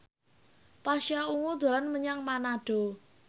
Pasha Ungu dolan menyang Manado